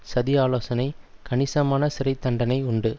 சதி ஆலோசனை கணிசமான சிறை தண்டனை உண்டு